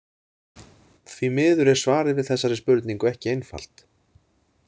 Því miður er svarið við þessari spurningu ekki einfalt.